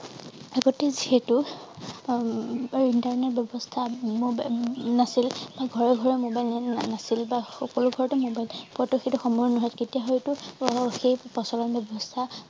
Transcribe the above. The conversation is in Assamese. আগতে সেইটো উম internet ব্যৱস্থা নাছিল বা ঘৰেঘৰে mobile net নাছিল বা সকলো ঘৰতে mobile তেতিয়া হয়টো সেই প্ৰচলন ব্যৱস্থা